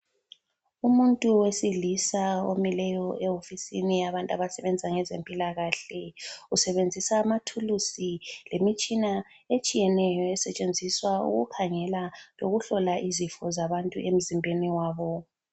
Umuntu wesilisa omileyo ehofisini yabantu abasebenza ngezempilakahle. Usebenzisa amathulusi lemitshina etshiyeneyo esetshenziswa ukukhangela lokuhlola izifo zabantu emzimbeni wabo.